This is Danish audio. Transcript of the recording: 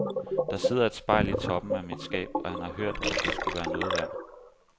Der sidder et spejl i toppen af mit skab, og han har hørt at det skulle være noget værd.